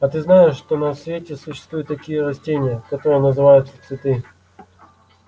а ты знаешь что на свете существуют такие растения которые называются цветы